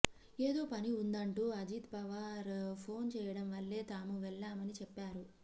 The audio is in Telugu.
ఏదో పని ఉందంటూ అజిత్ పవార్ ఫోన్ చేయడం వల్లే తాము వెళ్లామని చెప్పారు